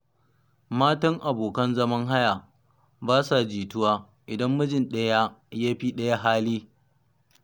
Matan abokan zaman haya ba sa jituwa, idan mijin ɗaya ya fi ɗaya hali.